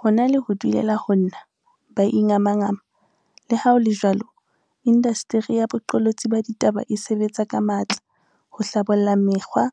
Ho na le ho dulela ho nna ba ingamangama, leha ho le jwalo, indasteri ya boqolotsi ba ditaba e sebetsa ka matla ho hlabolla mekgwa